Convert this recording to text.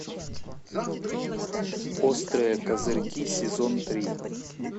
острые козырьки сезон три